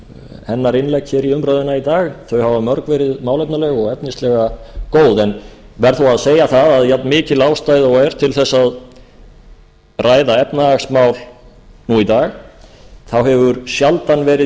hennar innlegg í umræðuna í dag þau hafa mörg verið málefnaleg og efnislega góð en verð þó að segja að jafnmikil ástæða og er til þess að ræða efnahagsmál í dag þá hefur sjaldan verið